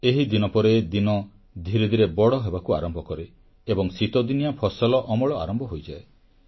ଏହିଦିନ ପରେ ଦିନ ଧୀରେ ଧୀରେ ବଡ଼ ହେବାକୁ ଆରମ୍ଭ କରେ ଏବଂ ଶୀତଦିନିଆ ଫସଲ ଅମଳ ଆରମ୍ଭ ହୋଇଯାଏ